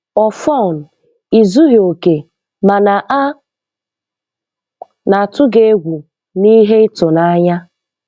Ọfọn, ị zughị oke, mana a na-atụ gị egwu na ihe ịtụnanya.